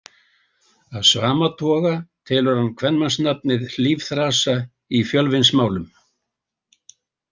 Af sama toga telur hann kvenmannsnafnið Hlífþrasa í Fjölsvinnsmálum.